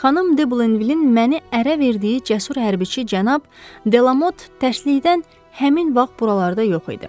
Xanım De Blenvilin məni ərə verdiyi cəsur hərbici cənab Delamot təklikdən həmin vaxt buralarda yox idi.